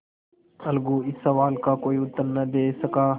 अलगू इस सवाल का कोई उत्तर न दे सका